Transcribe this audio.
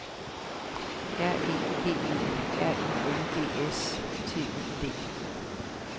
R E G E R I N G S T I D